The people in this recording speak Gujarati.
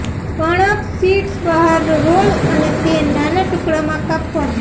કણક શીટ્સ બહાર રોલ અને તે નાના ટુકડામાં કાપવામાં